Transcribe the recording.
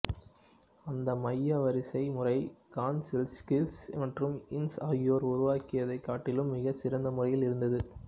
அந்த மைய வரிசை முறை கான்செல்ஸ்கிஸ் மற்றும் இன்ஸ் ஆகியோர் உருவாக்கியதைக் காட்டிலும் மிகச் சிறந்த முறையில் இருந்தது